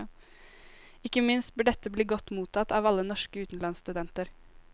Ikke minst bør dette bli godt mottatt av alle norske utenlandsstudenter.